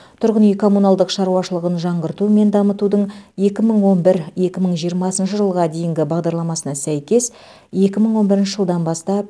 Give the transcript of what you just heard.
тұрғын үй коммуналдық шаруашылығын жаңғырту мен дамытудың екі мың он бір екі мың жиырмасыншы жылға дейінгі бағдарламасына сәйкес екі мың он бірінші жылдан бастапмәуленқұлов